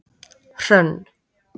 Hrönn